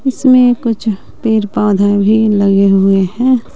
इसमें कुछ पेड़ पौधा भी लगे हुए हैं।